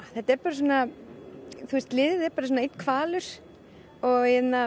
liðið er bara einn hvalur og